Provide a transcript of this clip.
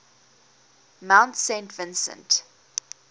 mount saint vincent